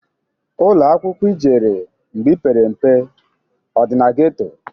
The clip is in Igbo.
Ụlọakwaụkwọ ijere mgbe ipere mpe ọ dị na geto?